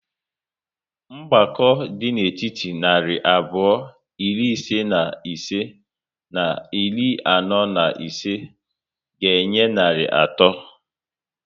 Mgbakọ dị n'etiti narị abụọ iri ise na ise na iri anọ na ise ga enye narị atọ